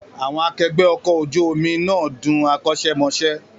Àwọn akẹgbẹ́ ọkọ̀ ojú omi náà dún akọ́ṣẹ́mọṣẹ́